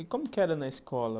E como que era na escola?